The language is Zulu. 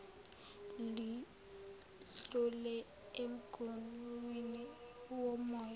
lidlule emguwnini womoya